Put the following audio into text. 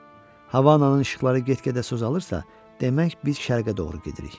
Havanın işıqları get-gedə süzülürsə, demək biz şərqə doğru gedirik.